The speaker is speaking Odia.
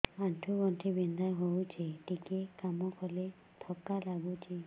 ଆଣ୍ଠୁ ଗଣ୍ଠି ବିନ୍ଧା ହେଉଛି ଟିକେ କାମ କଲେ ଥକ୍କା ଲାଗୁଚି